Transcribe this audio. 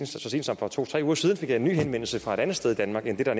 så sent som for to tre uger siden fik jeg en ny henvendelse fra et andet sted i danmark end det der